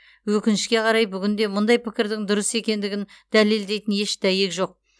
өкінішке қарай бүгінде мұндай пікірдің дұрыс екендігін дәлелдейтін еш дәйек жоқ